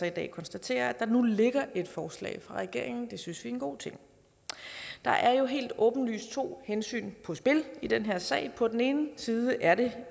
i dag konstatere at der nu ligger et forslag fra regeringen det synes vi er en god ting der er jo helt åbenlyst to hensyn på spil i den her sag på den ene side er det